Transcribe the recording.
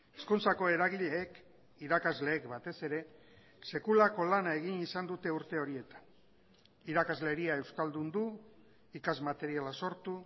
hezkuntzako eragileek irakasleek batez ere sekulako lana egin izan dute urte horietan irakasleria euskaldundu ikas materiala sortu